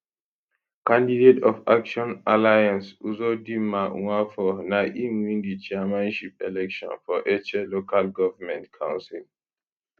candidate of action alliance uzodinma nwafor na im win di chairmanship election for etche local government council